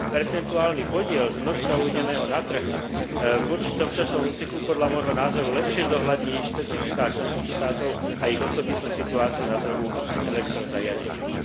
Percentuálny podiel z množstva uvedeného na trh v určitom časovom úseku podľa môjho názoru lepšie zohľadní špecifiká členských štátov a ich osobitnú situáciu na trhu s elektrozariadeniami.